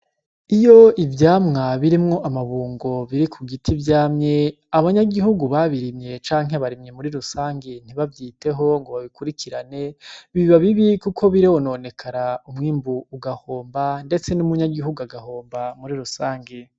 Iyo ivyamwa birimwo amabungo biri ku giti vyamye abanyagihugu babirimye canke abarimyi muri rusangi ntibavyiteho ngo babikurikirane biba bibi kuko birononekara umwimbu ugahomba ndetse n'umunyagihugu agahomba muri rusangi.